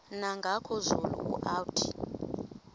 nangoku zulu uauthi